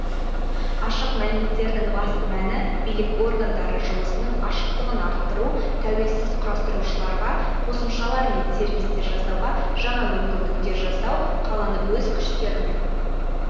ашық мәліметтердің басты мәні билік органдары жұмысының ашықтығын арттыру тәуелсіз құрастырушыларға қосымшалар мен сервистер жасауға жаңа мүмкіндіктер жасау қаланы өз күштерімен